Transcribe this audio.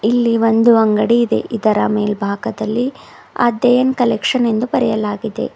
ಇಲ್ಲಿ ಒಂದು ಅಂಗಡಿ ಇದೆ ಇದರ ಮೇಲ್ಭಾಗದಲ್ಲಿ ಅದೇನ್ ಕಲೆಕ್ಷನ್ ಎಂದು ಬರೆಯಲಾಗಿದೆ.